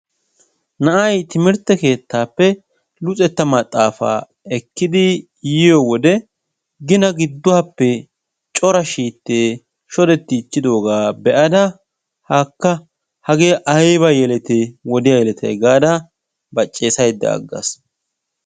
Na'ay timirtte keettappe luxetta maxaafaa ekkid yiyo wode gina gidduwappe cora shiitte shodettichchidooga be'ada haakka hage ayba yelete wodiya yeleatay gaada baccessaydda aggaas.